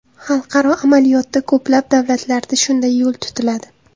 Xalqaro amaliyotda ko‘plab davlatlarda shunday yo‘l tutiladi.